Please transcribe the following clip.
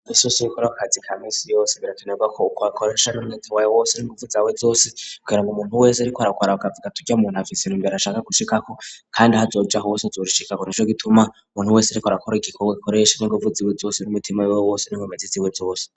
Fesosi bikorakazi ka misi yose biratunagakoko hakorash ari umweta waye wose n'inguvu zawe zose kugira ngo umuntu wese ari ko arakoaragavuga turya muntu hafisena imbera ashaka gushikako, kandi hazoja hose azorishikaro ni co gituma umuntu wese ari ko arakora igikorwa gikoresha n'inguvu ziwe zose ri'umitima wewe wose n'mumezi ziwe zose.